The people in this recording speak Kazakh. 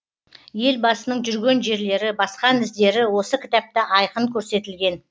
елбасының жүрген жерлері басқан іздері осы кітапта айқын көрсетілген